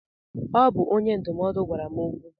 Ọ bụ onye ndụmọdụ gwara m okwu.